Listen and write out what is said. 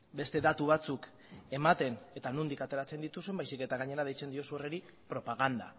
beste datu batzuk ematen eta nondik ateratzen dituzun baizik eta gainera deitzen diozu horri propaganda